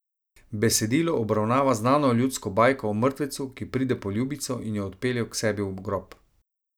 Besedilo obravnava znano ljudsko bajko o mrtvecu, ki pride po ljubico in jo odpelje k sebi v grob.